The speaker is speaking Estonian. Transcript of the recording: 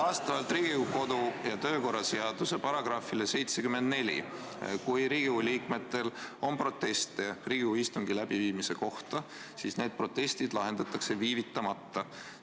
Vastavalt Riigikogu kodu- ja töökorra seaduse §-le 74 on nii, et kui Riigikogu liikmetel on proteste Riigikogu istungi läbiviimise kohta, siis need protestid lahendatakse viivitamata.